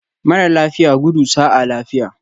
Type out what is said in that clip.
Mara lafiya, gudu sa'a lafiya